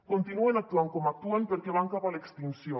continuen actuant com actuen perquè van cap a l’extinció